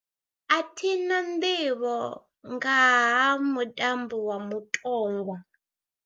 A thi na nḓivho nga ha mutambo wa mutongwa.